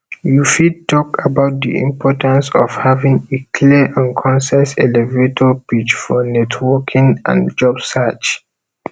you fit talk about di importance of having a clear and concise elevator pitch for networking and job search